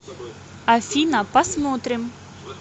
афина посмотрим